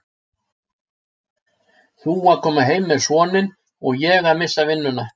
Þú að koma heim með soninn og ég að missa vinnuna.